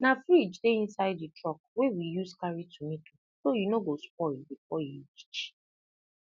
na fridge dey inside the truck wey we use carry tomato so e no go spoil before e reach